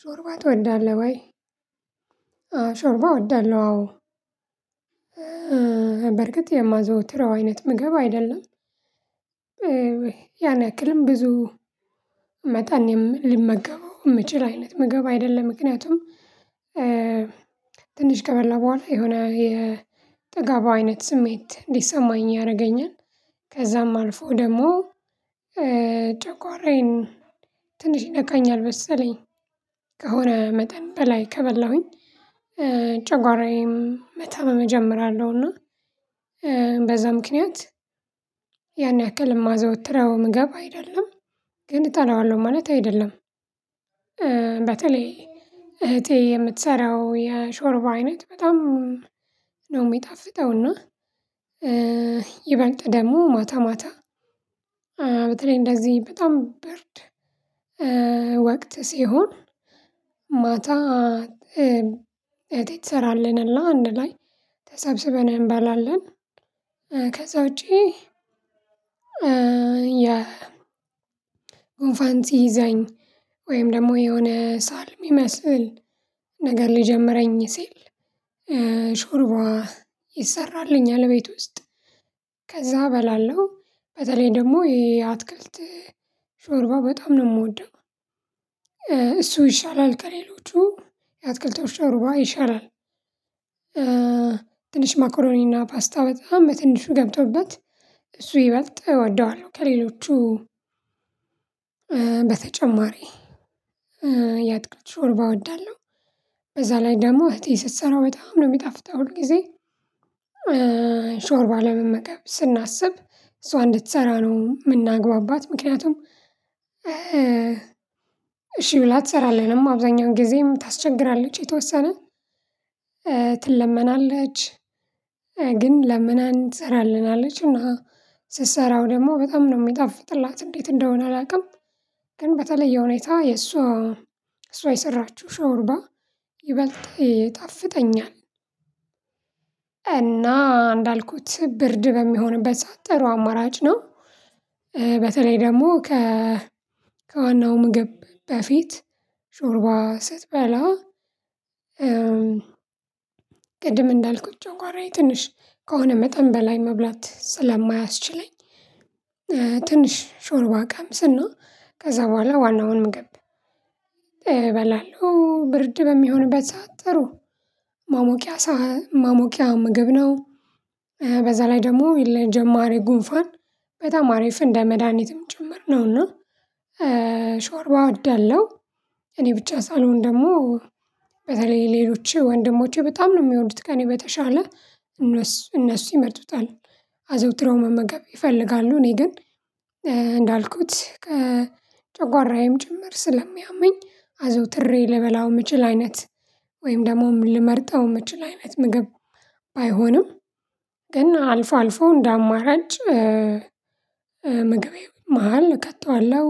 ሾርባ ትወዳለህ ወይ? አዎ ሾርባ እወዳለሁ አዎ በርግጥ የማዘወትረው አይነት ምግብ አይደለም። ያን ያክልም ብዙ መጠን ልመገበው እምችል አይነት ምግብ አይደለም ምክንያቱም ትንሽ ከበላ በኋላ የሆነ የጠግብ አይነት ስሜት እንዲሰማኝ ያደርገኛል። ከዛም አልፎ ደግሞ ጨጓራዬን ትንሽ ይነካኛል መሰለኝ። ከሆነ መጠን በላይ ከበላሁኝ ጨጓራዬም መታመመ እጀምራለሁ። እና በዛ ምክንያት ያን ያክል እማዘወትርው ምግብ አይደለም ግን እጠላዋለሁ ማለት አይደለም። በተለይ እህቴ የምትሰራው የሾርባ አይነት በጣም ነው እሚጣፍጠው። እና ይበልጥ ደግሞ ማታ ማታ በተለይ እንደዚህ በጣም ብርድ ወቅት ሲሆን ማታ እህቴ ትሰራልንና አንድ ላይ ተሰብስበን እንበላለን። ከዛ ውጪ። ያ ጉንፋን ሲይዘኝ ወይም ደግሞ የሆነ ሳልም እሚመስል ነገር ሊጀምረኝ ሲል ሾርባ ይሰራልኛል። እቤት ውስጥ ከዛ እበላለሁ በተለይ ደግሞ ይሄ አትክልት ሾርባ በጣም ነው እምወደው። እሱ ይሻላል ከሌሎቹ የአትክልቶቹ ሾርባ ይሻላል። ትንሽ መኮሮኒና ፓስታ በጣም በትንሹ ገብቶበት እሱ ይበልጥ እወደዋለሁ። ከሌሎቹ በተጨማሪ የአትክልት ሾርባ እወዳለሁ። በዛ ላይ ደግሞ እህቴ ስትሰራ በጣም ነው የሚጣፍተው ሁል ጊዜ ሾርባ ለመመገብ ስናስብ እሷ እንድትሰራ ነው እምናግባባት። ምክንያቱም እሺ ብላ አትሰራለንም አብዛኛውን ጊዜም ታስቸግራለች የተወሰነ ትለመናለች። ግን ለምን ተሰራልናለች እና ስሰራው ደግሞ በጣም ነው የሚጠፍጥላት እንዴት እንደሆነ አላውቅም። ግን በተለየ ሁኔታ የእሷ እሷ የሰራችው ሾርባ ይበልጥ ይጣፍጠኛል። እና እንዳልኩት ብርድ በሚሆንበት ሰዓት ጥሩው አማራጭ ነው። በተለይ ደግሞ ከ ከዋናው ምግብ በፊት ሾርባ ስትበላ። ቅድም እንዳልኩት ጨጓራዬ ትንሽ ከሆነ መጠን በላይ መብላት ስለማያስችለኝ ትንሽ ሾርባ ቀምስና ከዛ በኋላ ዋናውን ምግብ እበላለሁ። ብርድ በሚሆንበት ሰዓት ጥሩ ማሞቂያ ማሞቂያ ምግብ ነው። በዛ ላይ ደግሞ የለ ለጀማሪ ጉንፋን በጣም አሪፍ እንደ መድሃኒትም ጭምር ነውና ሾርባ እወዳለሁ። እኔ ብቻ ሳልሆን ደግሞ በተለይ ሌሎች ወንድሞቼ በጣም ነው እሚወዱት ከእኔ በተሻለ እነሱ እነሱ ይመርጡታል። አዘወትሮ መመገብ ይፈልጋሉ እኔ ግን እንዳልኩት ከጨጓራዬም ጭምር ስለሚያመኝ አዘውትሬ ልበላው እምችል አይነት ወይም ደግሞ ልመርጠው እምችል አይነት ምግብ ባይሆንም ግን አልፎ አልፎ እንደ አማራጭ ምግቤ መሃል እከተዋለሁ።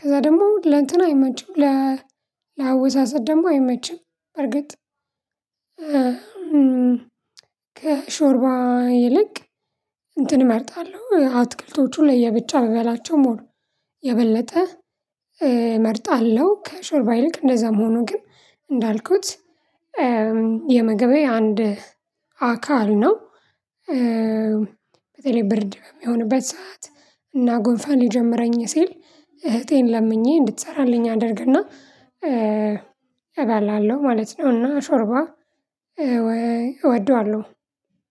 ከዛ ደግሞ ለእንትን አይመችም ለ ለአወሳሰድ ደግሞ አይመችም። በርግጥ ከሾርባ ይልቅ እንትን እመርጣለሁ አትክልቶቹ ለየብቻ ብበላቸው ሞር የበለጠ እመርጣለሁ። ከሾርባ ይልቅ እንደዛም ሆኖ ግን እንዳልኩት የምግቤ አንድ አካል ነው። በተለይ ብርድ በሚሆንበት ሰዓት እና ጉንፋን ሊጀመረኝ ሲል እህቴን ለምኜ እንድትሰራልኝ አደርግና እበላለሁ ማለት ነውና ሾርባ እወደዋለሁ።